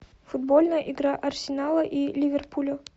футбольная игра арсенала и ливерпуля